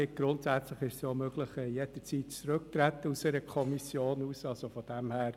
Grundsätzlich ist es möglich, jederzeit aus einer Kommission auszutreten.